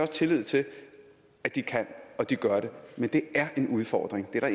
tillid til at de kan og de gør det men det er en udfordring det er